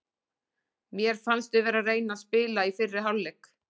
Mér fannst við vera að reyna að spila í fyrri hálfleik.